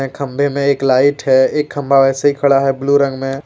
खंबे में एक लाइट है एक खंबा वैसे ही खड़ा है ब्लू रंग में।